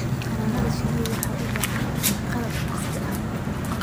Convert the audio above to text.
Xannaanada shinnidu waxay u baahan tahay qalab casri ah.